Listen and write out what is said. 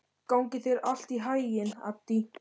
Gangi þér allt í haginn, Addý.